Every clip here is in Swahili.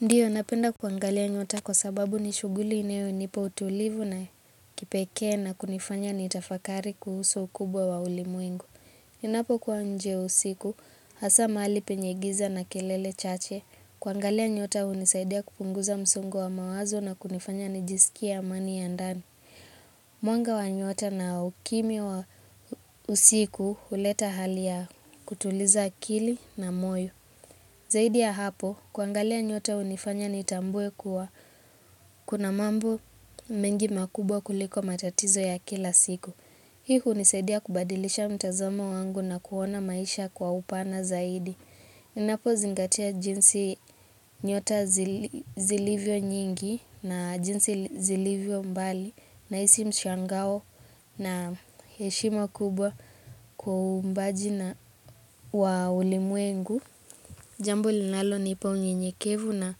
Ndiyo, napenda kuangalia nyota kwa sababu ni shughuli inayonipa utulivu na kipekee na kunifanya nitafakari kuhusu ukubwa wa ulimwengu. Inapokuwa nje usiku, hasa mahali penye giza na kelele chache, kuangalia nyota hunisaidia kupunguza msongo wa mawazo na kunifanya nijisikie amani ya ndani. Mwanga wa nyota na ukimya wa usiku huleta hali ya kutuliza akili na moyo. Zaidi ya hapo, kuangalia nyota hunifanya nitambue kuwa kuna mambo mengi makubwa kuliko matatizo ya kila siku. Hii hunisaidia kubadilisha mtazamo wangu na kuona maisha kwa upana zaidi. Inapozingatia jinsi nyota zilivyo nyingi na jinsi zilivyo mbali naisi mshangao na heshima kubwa kwa waumbaji na wa ulimwengu. Jambu linalonipa unyenyekevu na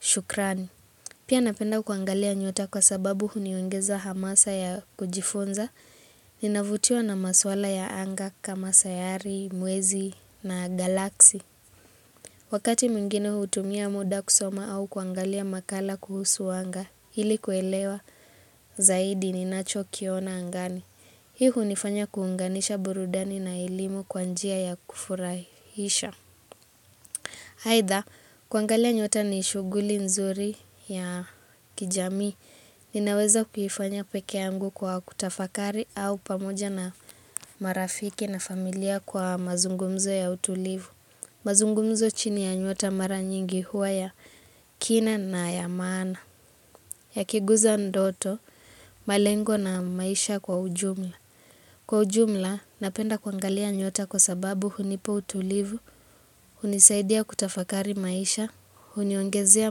shukrani. Pia napenda kuangalia nyota kwa sababu huniongeza hamasa ya kujifunza. Ninavutiwa na maswala ya anga kama sayari, mwezi na galaksi. Wakati mwingine hutumia muda kusoma au kuangalia makala kuhusu anga. Ili kuelewa zaidi ninachokiona angani. Hii hunifanya kuunganisha burudani na elimu kwa njia ya kufurahisha. Aidha, kuangalia nyota ni shughuli nzuri ya kijamii, ninaweza kufanya peke yangu kwa kutafakari au pamoja na marafiki na familia kwa mazungumzo ya utulivu. Mazungumzo chini ya nyota mara nyingi huwa ya kina na ya maana, yakiguza ndoto, malengo na maisha kwa ujumla. Kwa ujumla, napenda kuangalia nyota kwa sababu hunipa utulivu, hunisaidia kutafakari maisha, huniongezea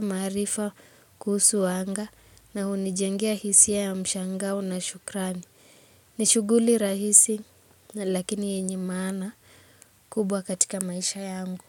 maarifa kuhusu wanga, na hunijengea hisia ya mshangao na shukrani. Ni shughuli rahisi, lakini yenye maana kubwa katika maisha yangu.